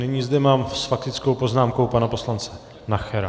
Nyní zde mám s faktickou poznámkou pana poslance Nachera.